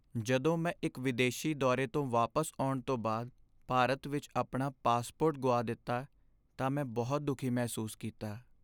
ਜਦੋਂ ਮੈਂ ਇੱਕ ਵਿਦੇਸ਼ੀ ਦੌਰੇ ਤੋਂ ਵਾਪਸ ਆਉਣ ਤੋਂ ਬਾਅਦ ਭਾਰਤ ਵਿੱਚ ਆਪਣਾ ਪਾਸਪੋਰਟ ਗੁਆ ਦਿੱਤਾ ਤਾਂ ਮੈਂ ਬਹੁਤ ਦੁਖੀ ਮਹਿਸੂਸ ਕੀਤਾ।